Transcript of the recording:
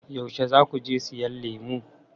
Yaushe za ku je siyan lemu?